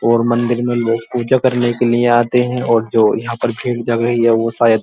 और मंदिर मे लोग पूजा करने के लिए आते हैं और जो यहाँ पर भीड़ लग रही है वो शायद --